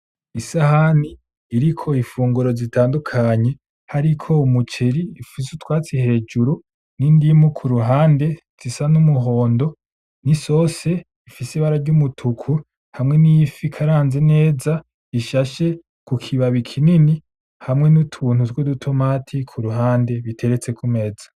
Isahani iriko ifunguro zitandukanye hariko umuceri ufise utwatsi hejuru n,indimu kuruhande zisa numuhondo nisosi ifise ibara ryumutuku hamwe n,ifi ikaranze neza ishashe kukibabi kinini hamwe nutuntu twudutomati kuruhande duteretse kumeza .